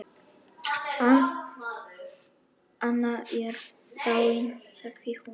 Anna er dáin sagði hún.